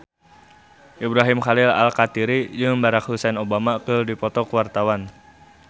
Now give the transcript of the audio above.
Ibrahim Khalil Alkatiri jeung Barack Hussein Obama keur dipoto ku wartawan